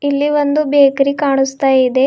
ಇಲ್ಲಿ ಒಂದು ಬೇಕರಿ ಕಾಣುಸ್ತ ಇದೆ.